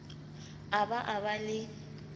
a ba a ba le